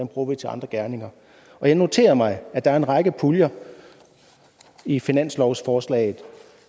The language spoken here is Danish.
bruger vi til andre gerninger og jeg noterer mig at der er en række puljer i finanslovsforslaget